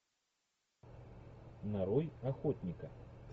нарой охотника